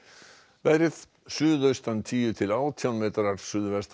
veðri suðaustan tíu til átján metrar suðvestan